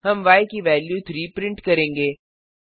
हम य की वेल्यू 3 प्रिंट करेंगे